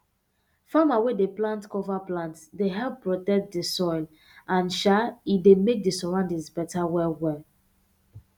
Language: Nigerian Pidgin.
farmer wey dey plant cover plants dey help protect di um soil and um e dey make di surroundings beta well well